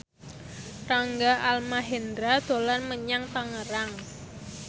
Rangga Almahendra dolan menyang Tangerang